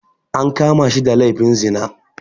An kama shi da laifin zina